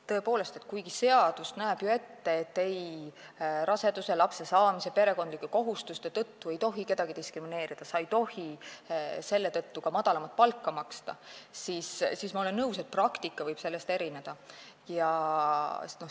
Tõepoolest, kuigi seadus näeb ju ette, et raseduse, lapse saamise ega perekondlike kohustuste tõttu ei tohi kedagi diskrimineerida, selle tõttu ei tohi ka madalamat palka maksta, siis ma olen nõus, et praktika võib sellest erineda.